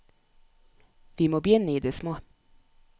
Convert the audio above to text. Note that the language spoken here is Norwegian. Vi må begynne i det små.